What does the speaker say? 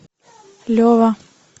лева